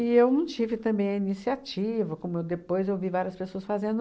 E eu não tive também a iniciativa, como eu depois eu vi várias pessoas fazendo.